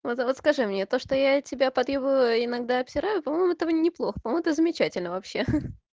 вот вот скажи мне то что я тебя подъебываю и иногда обсираю по-моему это неплохо по-моему это замечательно вообще